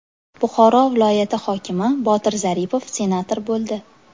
Buxoro viloyati hokimi Botir Zaripov senator bo‘ldi.